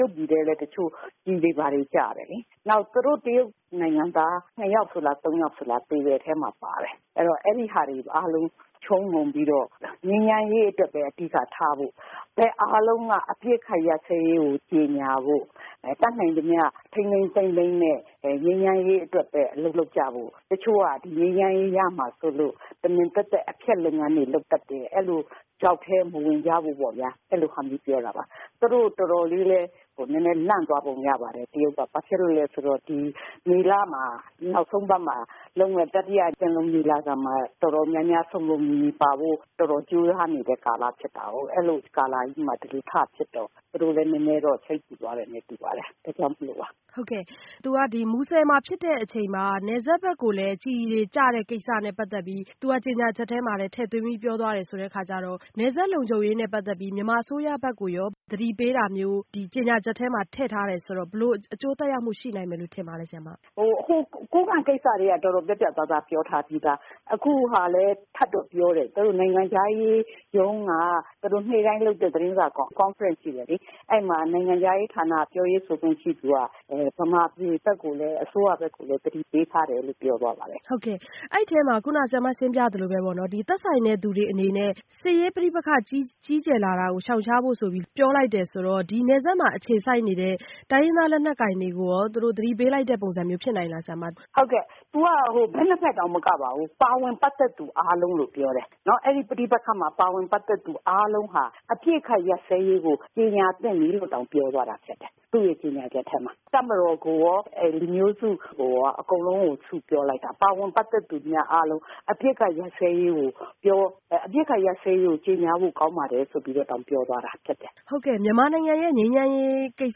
ရုတ်ပြည်ထဲလည်း ကျည်တွေဘာတွေကျတယ်လေ။ သူတို့တရုတ်နိုင်ငံက ၂ ယောက်လား ၃ ယောက်လား သေတဲ့အထဲမှာပါတယ်။ ဆိုတော့ အဲဒါတွေအားလုံး ခြုံငုံပြီးတော့ ငြိမ်းချမ်းရေးအတွက်ပဲ အဓိကထားပြီးတော့ ဘက်အားလုံးက အပစ်အခတ်ရပ်စဲရေးကို ကြေညာဖို့ တတ်နိုင်သမျှ ထိန်းထိန်းသိမ်းသိမ်းနဲ့ ငြိမ်းချမ်းရေးအတွက်ပဲ အလုပ်လုပ်ကြဖို့ ၊ တချို့က ငြိမ်းချမ်းရေးရမှာစိုးလို့ တမင် အဖျက်လုပ်ငန်းတွေလုပ်တတ်တယ်၊ ချောက်ထဲမဝင်ကြဖို့ပေါ့ဗျာ အဲလိုဟာမျိုးပါ သူတို့တော်တော်လေးလည်း လန့်သွားပုံရတယ်။ ဘာဖြစ်လို့လဲဆိုတော့ ဒီမေလ နောက်ဆုံးအပတ်မှာလုပ်မယ့် တတိယ ပင်လုံညီလာခံမှာ တော်တော်များများ စုံစုံလင်လင်ပါဖို့ တော်တော်များများကြိုးစားနေတဲ့ကာလမှာ ဒီလိုထဖြစ်တော့ သူတို့လည်းနည်းနည်းစိတ်ပူသွားတယ်တူပါတယ် အဲဒါကြောင့်မို့ပါ။ မူဆယ်မှာဖြစ်တဲ့အချိန်မှာ နယ်စပ်ဘက်ကိုလည်း ကျည်တွေကျတာနဲ့ပတ်သက်ပြီး သူကကြေညာချက်ထဲမှာလည်းဖော်ပြပြောသွားတယ်ဆိုတော့ နယ်စပ်လုံခြုံရေးနဲ့ပတ်သက်ပြီး မြန်မာအစိုးရဘက်က သတိပေးတာမျိုး ဒီကြေညာချက်မှာ ထည့်ထားတယ်ဆိုတော့ ဘယ်လိုမျိုး အကျိုးသက်ရောက်မှုရှိနိုင်မယ်လို့ ထင်ပါသလဲ။ ကိုးကန့်ကိစ္စကတည်းက တော်တော်ပြတ်ပြတ်သားသားပြောထားပြီးသား အခုဟာလည်း ထပ်တော့ပြောတယ်။ သူတို့ နိုင်ငံခြားရေးရုံးက နေ့တိုင်းလုပ်တဲ့ သတင်းစာ Conference ရှိတယ်လေ ။ အဲဒီမှာ နိုင်ငံခြားရေးဌာန ပြောရေးဆိုခွင့်ရှိသူက မြန်မာပြည် အစိုးရဘက်ကိုလည်း သတိပေးထားတယ်လို့ ပြောသွားပါတယ်။ အဲဒီအထဲမှာ ခုနဆရာမ ရှင်းပြသလိုပဲပေါ့နော် သက်ဆိုင်တဲ့သူတွေအနေနဲ့ စစ်ရေးပဋိပက္ခကြီးကျယ်လာတာကို ရှောင်ရှားဖို့ပြောတယ်ဆိုတော့ ဒီနယ်စပ်မှာ အခြေစိုက်နေတဲ့ တိုင်းရင်းသားလက်နက်ကိုင်တွေကိုရော သူတို့သတိပေးတဲ့ ပုံစံမျိုးလည်းဖြစ်နိုင်သလား။ ဟုတ်ကဲ့ သူက ဘက် ၂ ဘက်တောင်မကပါဘူး ပါဝင်ပတ်သက်သူတွေအားလုံးလို့ပြောတယ် ။ အပစ်အခတ်ရပ်စဲရေးကို ကြေညာသင့်ပြီလို့တောင်ပြောတယ် ။ သူကြေညာချက်ထဲမှာ တပ်မတော်ကို လူမျိုးစုကိုရော အကုန်လုံးကို စုပြီးတော့ ပြောလိုက်တာ ပတ်သက်သူတွေအားလုံး အပစ်အခတ်ရပ်စဲရေးကို ကြေညာဖို့ကောင်းပါတယ်ဆိုပြီးတော့တောင် ပြောသွားတာ။ ဟုတ်ကဲ့ မြန်မာနိုင်ငံရဲ့ ငြိမ်းချမ်းရေးကိစ္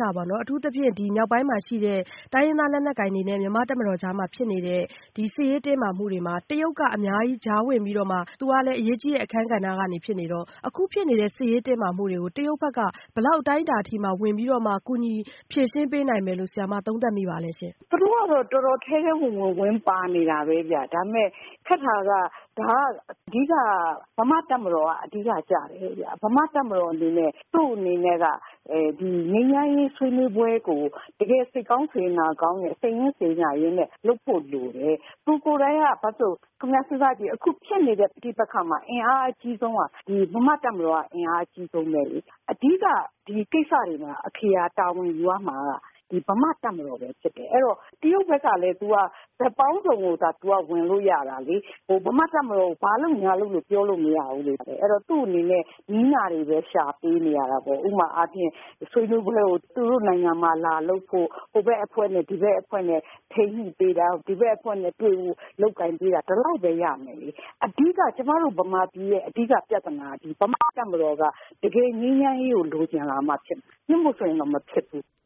စပေါ့နော် အထူးသဖြင့် မြောက်ပိုင်းမှာရှိတဲ့ တိုင်းရင်းသားလက်နက်ကိုင်တွေနဲ့ တပ်မတော်ကြားမှာ ဖြစ်နေတဲ့ ဒီစစ်ရေးတင်းမာမှုတွေမှာ တရုတ်က အများကြီး ကြားဝင်ပြီးတော့မှ သူကလည်း အရေးကြီးတဲ့ အခန်းကဏ္ဍကနေ ဖြစ်နေတော့ အခုဖြစ်နေတဲ့ စစ်ရေးတင်းမာမှုတွေကို တရုတ်ဘက်က ဘယ်လောက်အတိုင်းအတာအထိ ကူညီဖြေရှင်းပေးနိုင်မယ်လို့ ဆရာမ သုံးသပ်မိပါသလဲရှင့်။ သူတို့ကတော့ ထဲထဲဝင်ဝင် ဝင်ပါနေတာပဲ ။ ဒါပေမယ့် ခက်တာက ဒါက အဓိက မြန်မာ့တပ်မတော်အဓိကကျတယ်။ မြန်မာ့တပ်မတော်အနေနဲ့ သူ့အနေနဲ့က ငြိမ်းချမ်းရေးဆွေးနွေးပွဲကို တကယ်စိတ်ကောင်းစေတနာကောင်းနဲ့ စိတ်ရင်းစေတနာနဲ့ လုပ်ဖို့လိုတယ်။ အခုဖြစ်နေတဲ့ ပဋိပက္ခမှာ အင်အားအကြီးဆုံးက မြန်မာ့တပ်မတော်က အင်အားအကြီးဆုံးပဲလေ။ အဓိကကိစ္စတွေမှာ အခရာတာဝန်ယူရမှာက မြန်မာ့တပ်မတော်ဖြစ်တယ် အဲဒီတော့ တရုတ်ဘက်ကလည်း ဘက်ပေါင်းစုံကဝင်တယ်။ မြန်မာ့တပ်မတော်ကို ဘာလုပ်ပါလို့ ပြောလို့မရဘူးလေ။ အဲဒီတော့ သူ့အနေနဲ့ နည်းနာတွေပဲ ရှာပေးနေရတာပေါ့။ ဥပမာအားဖြင့် ဆွေးနွေးပွဲကို သူတို့နိုင်ငံမှာ သူတို့နိုင်ငံမှာ လာလုပ်ဖို့ ဟိုဘက်အဖွဲ့နဲ့ ဒီဘက်အဖွဲ့နဲ့ ထိန်းညှိပေးတာ ။ နောက်ဒီဘက်ကို လုပ်ပေးတာ ဒီလောက်ပဲရမယ် ။ ကျမတို့ မြန်မာပြည်ရဲ့ အဓိကပြဿနာကတော့ မြန်မာ့တပ်မတော်က တကယ်ငြိမ်းချမ်းရေးကို လိုချင်လာမှဖြစ်မယ် မဟုတ်ရင်တော့ မဖြစ်ဘူး။"